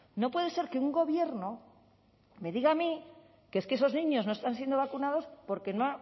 no puede ser que un gobierno me diga a mí que es que esos niños no están siendo vacunados porque no